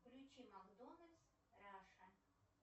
включи макдональдс раша